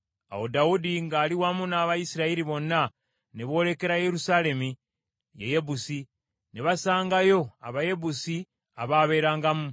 Awo Dawudi ng’ali wamu n’Abayisirayiri bonna ne boolekera Yerusaalemi, ye Yebusi. Ne basangayo Abayebusi abaabeerangamu.